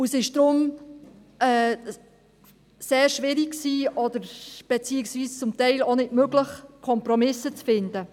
Es war deshalb sehr schwierig und zum Teil auch nicht möglich, Kompromisse zu finden.